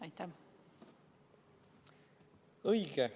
Õige!